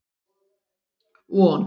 Von